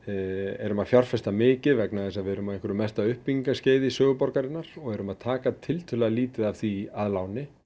erum að fjárfesta mikið vegna þess að við erum á einhverju mesta uppbyggingarskeiði í sögu borgarinnar og erum að taka tiltölulega lítið af því að láni